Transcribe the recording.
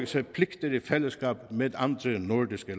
sig pligter i fællesskab med andre nordiske